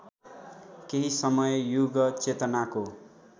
केही समय युगचेतनाको